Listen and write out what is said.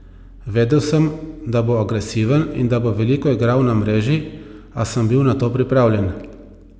Vedel sem, da bo agresiven in da bo veliko igral na mreži, a sem bil na to pripravljen.